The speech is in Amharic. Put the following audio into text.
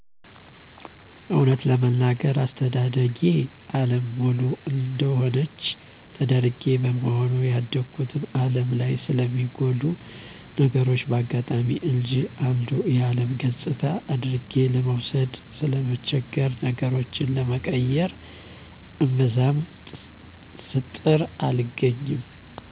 እወነት ለመናገር አስተዳደጌ አለም ሙሉ እደሆነች ተደርጌ በመሆኑ ያደጉት አለም ላይ ስለሚጎሉ ነገሮች በአጋጣሚ እንጅ አንዱ የአለም ገጽታ አድርጌ ለመውሰድ ስለምቸገር ነገሮችን ለመቀየር እምብዛም ስጥር አልገኝም።